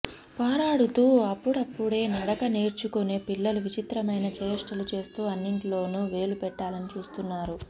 పారాడుతూ అప్పుడప్పుడే నడక నేర్చుకునే పిల్లలు విచిత్రమైన చేష్టలు చేస్తూ అన్నింట్లోనూ వేలు పెట్టాలని చూస్తుంటారు